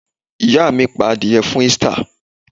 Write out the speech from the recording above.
Ìyá mi pa adìẹ fún Easter.